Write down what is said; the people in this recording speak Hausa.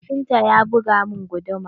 Kafinta ya buga min guduma.